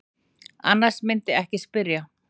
Annars mundirðu ekki spyrja.